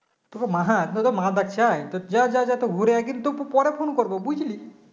তোকে মা তোকে মা ডাকছে তো যা যা ঘুরে যায় কিন্তু প~ পরে Phone করব বুঝলি